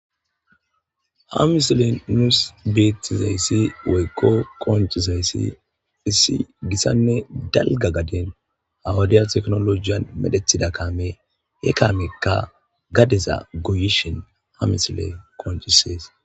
ha misile nuus beettizayssi woykko koncizayssi hissi gissanne dalga gaden awadiya teknolojiyan medhethida kaame he kaamekka gadeza goyishin ha misile konchisees